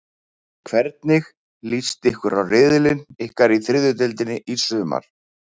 Hvernig list ykkur á riðilinn ykkar í þriðju deildinni í sumar?